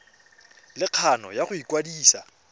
le kgano ya go ikwadisa